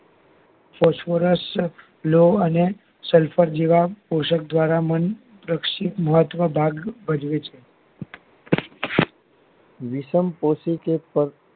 સ્વસર્યાસ્વ લોહ અને સલ્ફર જેવા ઔષધ દ્વારા મન રક્ષિત અથવા ભાગ ભજવે છે વિષમ પોષી કે